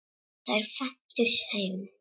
Þær fæddust heima.